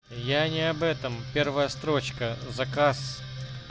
я не об этом первая строчка заказ